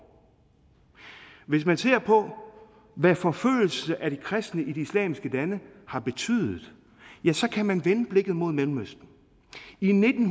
hvis man ser på hvad forfølgelse af de kristne i de islamiske lande har betydet kan man vende blikket mod mellemøsten i nitten